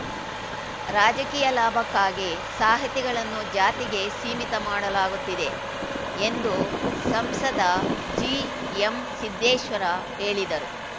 ರಾಜಕೀಯ ಲಾಭಕ್ಕಾಗಿ ಸಾಹಿತಿಗಳನ್ನು ಜಾತಿಗೆ ಸೀಮಿತ ಮಾಡಲಾಗುತ್ತಿದೆ ಎಂದು ಸಂಸದ ಜಿಎಂಸಿದ್ದೇಶ್ವರ ಹೇಳಿದರು